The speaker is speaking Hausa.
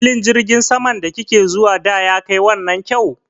Filin jirgin saman da ki ke zuwa da ya kai wannan kyau?